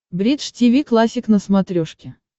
бридж тиви классик на смотрешке